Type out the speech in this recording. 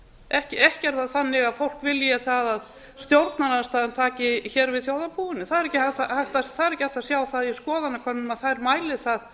ekki er það þannig að fólk vilji það að stjórnarandstaðan taki hér við þjóðarbúinu það er ekki hægt að sjá það í skoðanakönnunum að þær mæli það